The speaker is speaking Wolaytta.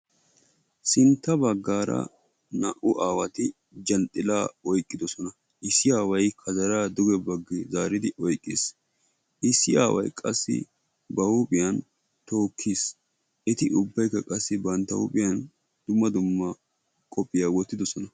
Sintta bagaara naa'u aawati zhanxxilaa oyqqidosona., issi aaway kazaraa oyqqis, issi aaway ba huuphiyan tookiis, eti ubaykka bantta huuphiyaan dumma dumma qophiyaa wotidosona.